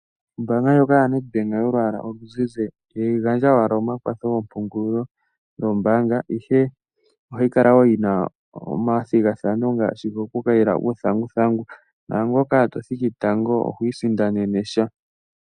Ombaanga ndyoka yoNedbank yolwaala oluzizi, ihayi gandja owala omakwatho goompungulilo goombaanga, ihe ohayi kala wo yina omathigathano ngasshi gokukayila uuthanguthangu, naangoka to to thiki tango, oho li sindanene sha.